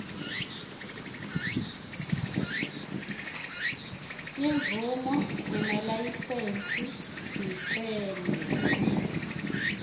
timvumo nemalayisensi sicelo